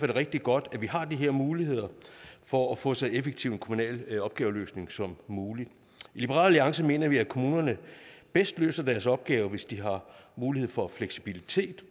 det rigtig godt at vi har de her muligheder for at få så effektiv en kommunal opgaveløsning som muligt i liberal alliance mener vi at kommunerne bedst løser deres opgave hvis de har mulighed for fleksibilitet